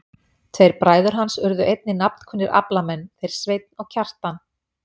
Tveir bræður hans urðu einnig nafnkunnir aflamenn, þeir Sveinn og Kjartan.